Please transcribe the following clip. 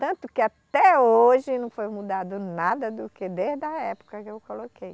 Tanto que até hoje não foi mudado nada do que desde a época que eu coloquei.